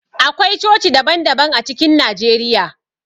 Akwai coci daban daban a cikin Najeriya.